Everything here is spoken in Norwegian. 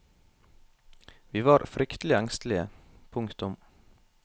Vi var fryktelig engstelige. punktum